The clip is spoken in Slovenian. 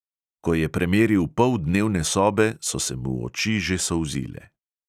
Ko je premeril pol dnevne sobe, so se mu oči že solzile.